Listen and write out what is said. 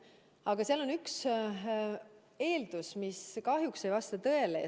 Aga seal on üks eeldus, mis kahjuks ei vasta tõele.